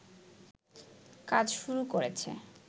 কাজ শুরু করেছে